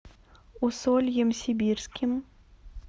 усольем сибирским